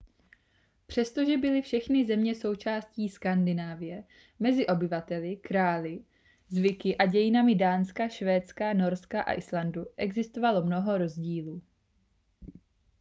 přestože byly všechny země součástí skandinávie mezi obyvateli králi zvyky a dějinami dánska švédska norska a islandu existovalo mnoho rozdílů